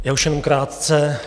Já už jen krátce.